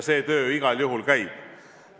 See töö igal juhul käib.